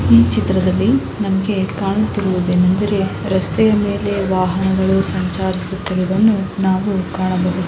ಈ ಚಿತ್ರದಲ್ಲಿ ನಮಗೆ ಕಾಣುತ್ತಿರುವುದೇನಿಂದರೆ ರಸ್ತೆಯ ಮೇಲೆ ವಾಹನಗಳು ಸಂಚಾರಿಸುತ್ತಿರುವುದನ್ನು ನಾವು ಕಾಣಬಹುದು.